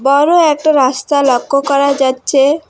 আরো একটা রাস্তা লক্ষ্য করা যাচ্ছে।